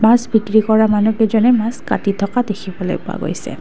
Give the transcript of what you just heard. মাছ বিক্ৰী কৰা মানুহকেইজনে মাছ কাটি থকা দেখিবলৈ পোৱা গৈছে।